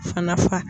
Fana fa